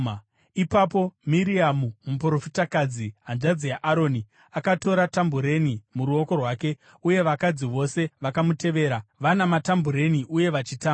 Ipapo Miriamu muprofitakadzi, hanzvadzi yaAroni, akatora tambureni muruoko rwake, uye vakadzi vose vakamutevera, vana matambureni uye vachitamba.